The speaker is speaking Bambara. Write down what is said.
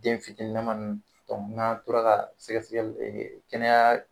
Den fitini lama nunnu dɔnku n'an tora ka sɛgɛ sɛgɛli e kɛnɛya